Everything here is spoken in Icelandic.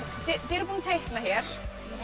þið eruð búin að teikna hér